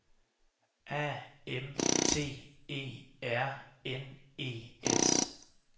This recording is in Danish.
A M T E R N E S